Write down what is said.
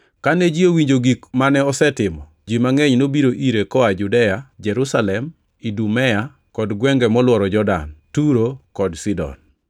Kane ji owinjo gik mane osetimo, ji mangʼeny nobiro ire koa Judea, Jerusalem, Idumea kod gwenge molworo Jordan, Turo kod Sidon.